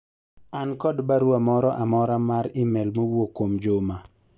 an kod barua moro amora mar email mowuok kuom Juma